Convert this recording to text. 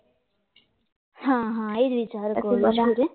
એ જ વિચાર કરું છું